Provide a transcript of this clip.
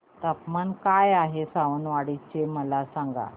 तापमान काय आहे सावंतवाडी चे मला सांगा